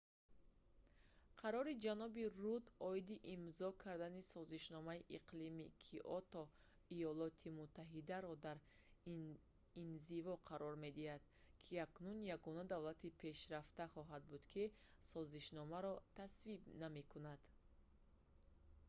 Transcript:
қарори ҷаноби рудд оиди имзо кардани созишномаи иқлими киото иёлоти муттаҳидаро дар инзиво қарор медиҳад ки акнун ягона давлати пешрафта хоҳад буд ки созишномаро тасвиб намекунад